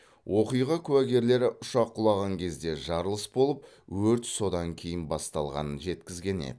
оқиға куәгерлері ұшақ құлаған кезде жарылыс болып өрт содан кейін басталғанын жеткізген еді